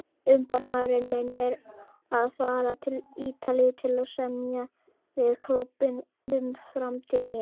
Umboðsmaðurinn minn er að fara til Ítalíu til að semja við klúbbinn um framtíð mína.